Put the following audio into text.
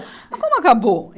Mas como acabou?